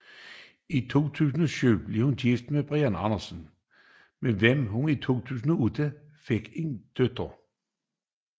I 2007 blev hun gift med Brian Andersen med hvem hun i 2008 fik en datter